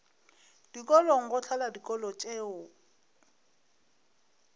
dikolong go hlola dikolo tšeo